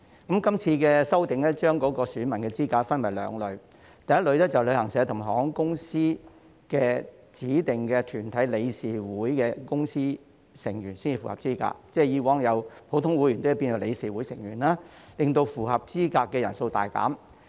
這次修訂將選民資格分為兩類，第一類是有權在旅行代理商及航空業指定團體的理事會/執行委員會表決的團體成員才符合資格，即是由以往的普通成員改為理事會/執行委員會成員，令符合資格的人數大減。